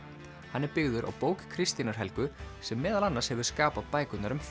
hann er byggður á bók Kristínar Helgu sem meðal annars hefur skapað bækurnar um